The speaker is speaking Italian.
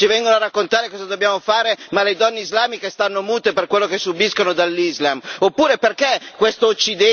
Qui quattro comuniste ci vengono a raccontare cosa dobbiamo fare, ma le donne islamiche stanno mute per quello che subiscono dall'Islam.